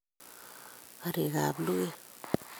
Karik ab luket